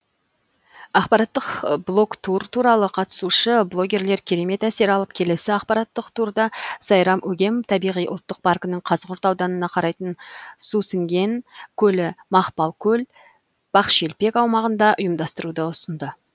ақпараттық блогтур туралы қатысушы блогерлер керемет әсер алып келесі ақпараттық турды сайрам өгем табиғи ұлттық паркінің қазығұрт ауданына қарайтын сусіңген көлі мақпалкөл бақшелпек аумағында ұйымдастыруды ұсынды